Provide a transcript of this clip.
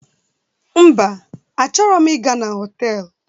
Mba, achoro m ị ga na họtelu